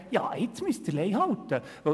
Jetzt müssen Sie «Lei halten».